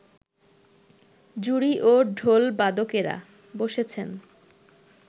জুড়ি ও ঢোলবাদকেরা বসেছেন